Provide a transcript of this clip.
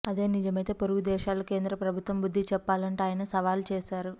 అదే నిజమైతే పొరుగు దేశాలకు కేంద్ర ప్రభుత్వం బుద్ధి చెప్పాలంటూ ఆయన సవాలు చేశారు